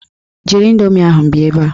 Jiri indoomi ahụ bịa ebe a!